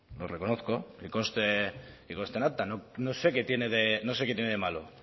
lo reconozco que conste en acta no sé qué tiene de malo